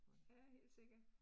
Ja, helt sikkert